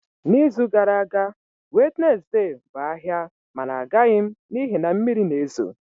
N'izu gara aga Wednesday bụ ahịa mana agaghị m n'ihi na mmiri na-ezo